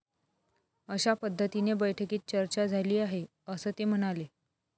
अशा पद्धतीने बैठकीत चर्चा झाली आहे, असं ते म्हणाले.